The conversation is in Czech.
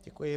Děkuji.